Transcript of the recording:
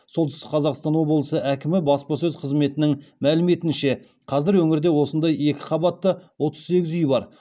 солтүстік қазақстан облысы әкімі баспасөз қызметінің мәліметінше қазір өңірде осындай екі қабатты отыз сегіз үй бар